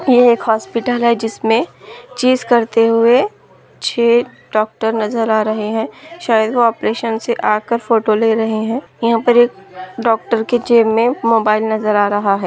ये एक हॉस्पिटल है जिसमे चीज़ करते हुए छे डॉक्टर नज़र आ रहे हैं शायद वो ओपरेशन आकर फोटो ले रहे हैं यहाँ पर एक डॉक्टर के जेब में मोबाइल नज़र आ रहा है।